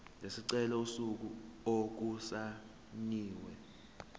lesicelo usuku okusayinwe